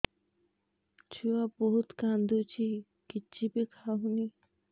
ଛୁଆ ବହୁତ୍ କାନ୍ଦୁଚି କିଛିବି ଖାଉନି